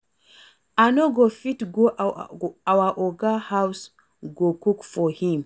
I no go fit go our Oga house go cook for him